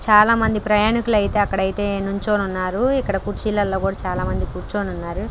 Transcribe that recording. చాలామంది ప్రయాణికులు అయితే అక్కడ అయితే నుంచో ఉన్నారు ఇక్కడ కుర్చీలలో కూడా చాలామంది కూర్చొని ఉన్నారు.